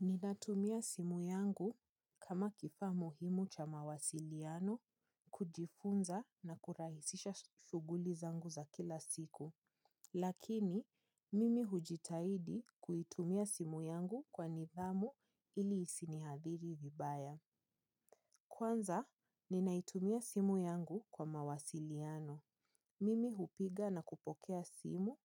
Ninatumia simu yangu kama kifaa muhimu cha mawasiliano, kujifunza na kurahisisha shughuli zangu za kila siku. Lakini, mimi hujitahidi kuitumia simu yangu kwa nidhamu ili isiniathiri vibaya. Kwanza, ninaitumia simu yangu kwa mawasiliano. Mimi hupiga na kupokea simu,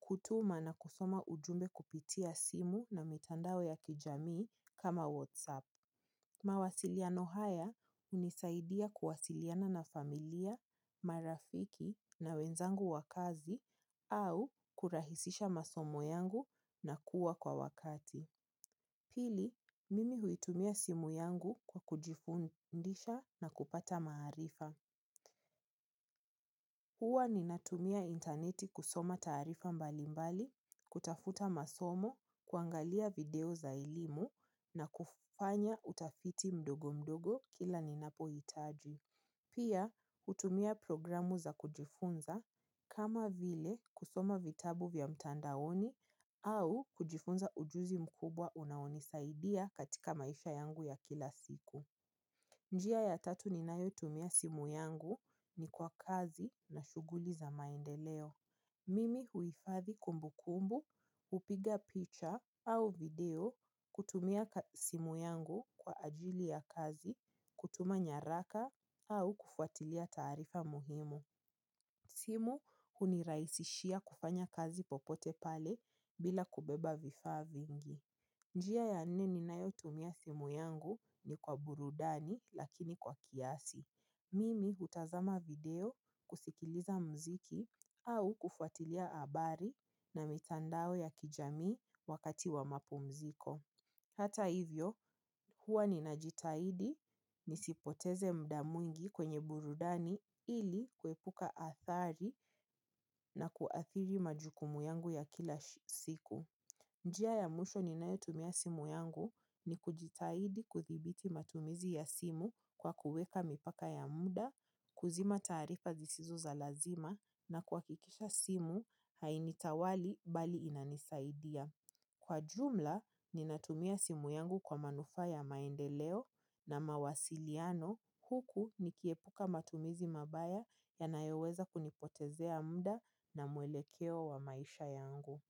hutuma na kusoma ujumbe kupitia simu, na mitandao ya kijamii kama wasapu. Mawasiliano haya hunisaidia kuwasiliana na familia, marafiki na wenzangu wa kazi au kurahisisha masomo yangu na kuwa kwa wakati. Pili, mimi huitumia simu yangu kwa kujifundisha na kupata maarifa. Huwa ninatumia intaneti kusoma taarifa mbalimbali, kutafuta masomo, kuangalia video za elimu na kufanya utafiti mdogo mdogo kila ninapohitaji. Pia, h utumia programu za kujifunza kama vile kusoma vitabu vya mtandaoni au kujifunza ujuzi mkubwa unaonisaidia katika maisha yangu ya kila siku. Njia ya tatu ninayotumia simu yangu ni kwa kazi na shughuli za maendeleo. Mimi huhifadhi kumbukumbu, hupiga picha au video kutumia simu yangu kwa ajili ya kazi, kutuma nyaraka au kufuatilia taarifa muhimu. Simu hunirahisishia kufanya kazi popote pale bila kubeba vifaa vingi. Njia ya nne ninayotumia simu yangu ni kwa burudani lakini kwa kiasi. Mimi hutazama video kusikiliza muziki au kufuatilia habari na mitandao ya kijamii wakati wa mapumziko. Hata hivyo, huwa ninajitahidi nisipoteze muda mwingi kwenye burudani ili kuepuka athari na kuathiri majukumu yangu ya kila siku. Njia ya mwisho ninayotumia simu yangu ni kujitahidi kudhibiti matumizi ya simu kwa kuweka mipaka ya muda, kuzima taarifa zisizo za lazima na kuhakikisha simu hainitawali bali inanisaidia. Kwa jumla, ninatumia simu yangu kwa manufaa ya maendeleo na mawasiliano huku nikiepuka matumizi mabaya yanayoweza kunipotezea muda na mwelekeo wa maisha yangu.